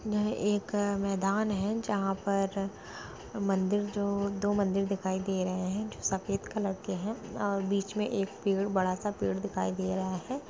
यहाँ एक मैदान हैं जहाँ पर मन्दिर जो दो मन्दिर दिखाई दे रहे हैं जो सफेद कलर के हैं और बीच में एक पेड़ बड़ा सा पेड़ दिखाई दे रहा है।